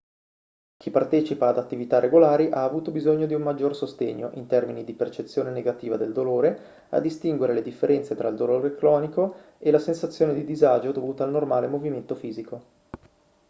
chi partecipa ad attività regolari ha avuto bisogno di un maggior sostegno in termini di percezione negativa del dolore a distinguere le differenze tra il dolore cronico e la sensazione di disagio dovuta al normale movimento fisico